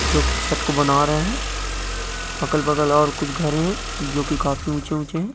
जो की छत को बना रहे है अगल बगल और कुछ घरे है जो की काफी ऊंचे ऊंचे है ।